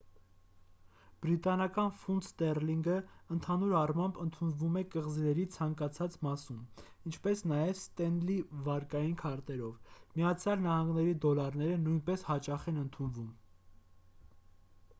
բրիտանական ֆունտ ստեռլինգը ընդհանուր առմամբ ընդունվում է կղզիների ցանկացած մասում ինչպես նաև ստենլի վարկային քարտերով միացյալ նահանգների դոլարները նույնպես հաճախ են ընդունվում